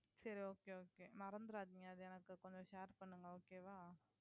சரி okay okay மறந்துராதீங்க அது எனக்கு கொஞ்சம் share பண்ணுங்க okay வா